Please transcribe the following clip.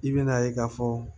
I bɛna ye k'a fɔ